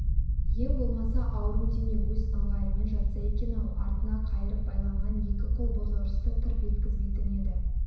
ең болмаса ауру дене өз ыңғайымен жатса екен-ау артына қайырып байланған екі қол бозорысты тырп еткізбейтін еді